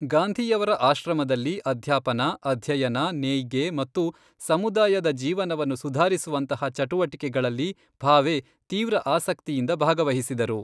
ಗಾಂಧಿಯವರ ಆಶ್ರಮದಲ್ಲಿ ಅಧ್ಯಾಪನ, ಅಧ್ಯಯನ, ನೇಯ್ಗೆ ಮತ್ತು ಸಮುದಾಯದ ಜೀವನವನ್ನು ಸುಧಾರಿಸುವಂತಹ ಚಟುವಟಿಕೆಗಳಲ್ಲಿ ಭಾವೆ ತೀವ್ರ ಆಸಕ್ತಿಯಿಂದ ಭಾಗವಹಿಸಿದರು.